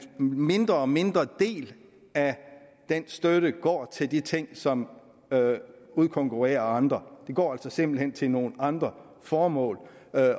mindre og mindre del af den støtte går til de ting som udkonkurrerer andre det går simpelt hen til nogle andre formål